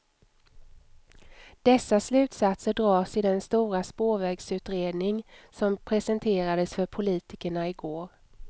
Dessa slutsatser dras i den stora spårvägsutredning som presenterades för politikerna i går.